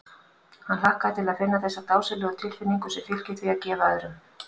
Hann hlakkaði til að finna þessa dásamlegu tilfinnigu sem fylgir því að gefa öðrum.